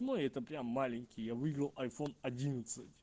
ой это прям маленький я выиграл айфон одиннадцать